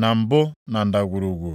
na mbụ na ndagwurugwu.